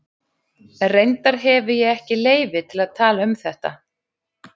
Reyndar hefi ég ekki leyfi til að tala um þetta.